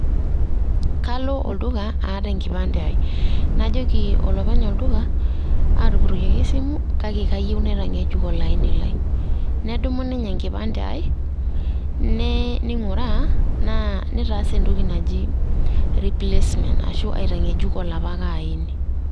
Kalo olduka aata enkipande aai, najoki olopeny olduka aatupuroyioki esimu kake kayieu naitang'ejuk olaini lai nedumu ninye enkipande aai neing'uraa naa neitaas entoki naji replacement arashuu aitang'ejuk olapake aini.